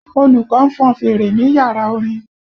Olùkọ́ ń fọn fèrè ní yàrá orin